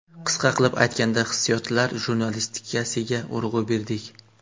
Qisqa qilib aytganda hissiyotlar jurnalistikasiga urg‘u berdik.